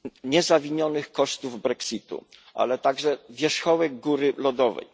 niezawinionych kosztów Brexitu, ale także wierzchołek góry lodowej.